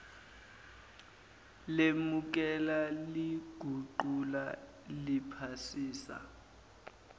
lemukela liguqula liphasisa